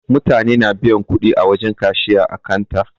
Mutane na biyan kudi wajen kashiya ã kanta.